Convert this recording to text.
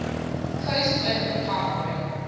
coast open partnering